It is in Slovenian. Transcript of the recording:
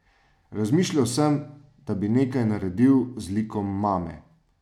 Razmišljal sem, da bi nekaj naredil z likom mame.